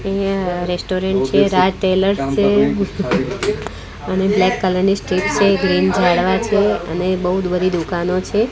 અહીંયા રેસ્ટોરન્ટ છે રાજ ટેલરસ છે અને બ્લેક કલરની સ્ટેજ છે ઝાડવા છે અને બૌજ બધી દુકાનો છે.